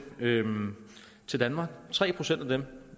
til danmark tre procent af dem